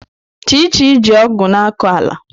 Chichi ji ọgụ̀ na-akọ ala.